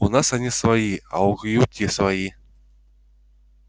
у нас они свои а у кьюти свои